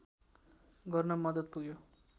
गर्न मद्दत पुग्यो